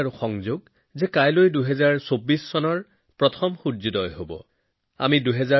বন্ধুসকল আজি ভাৰতৰ প্ৰতিটো কোণত আত্মবিশ্বাসেৰে ভৰপূৰ উন্নত ভাৰতৰ চিন্তাত আত্মনিৰ্ভৰশীলতাৰ চিন্তাত আকৰ্ষিত